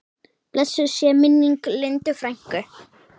Blessuð sé minning Lindu frænku.